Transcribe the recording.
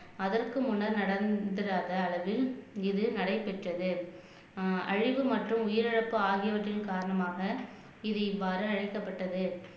அதற்கு முன்னர் நடந்திராத அளவில் இது நடைபெற்றது ஆஹ் அழிவு மற்றும் உயிரிழப்பு ஆகியவற்றின் காரணமாக இது இவ்வாறு அழைக்கப்பட்டது